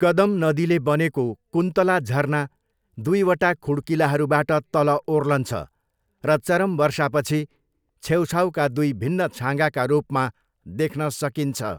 कदम नदीले बनेको, कुन्तला झरना दुईवचा खुड्किलाहरूबाट तल ओर्लन्छ र चरम वर्षापछि छेउछाउका दुई भिन्न छाँगाका रूपमा देख्न सकिन्छ।